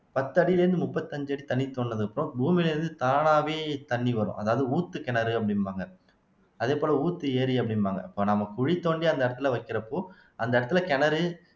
பத்து அடியில இருந்து முப்பத்தஞ்சு அடி தண்ணி தோண்டுனதுக்கப்புறம் பூமியில இருந்து தானாவே தண்ணி வரும் அதாவது ஊத்து கிணறு அப்படிம்பாங்க அதே போல ஊத்து ஏரி அப்படிம்பாங்க இப்ப நம்ம குழி தோண்டி அந்த இடத்துல வைக்கிறப்போ அந்த இடத்துல கிணறு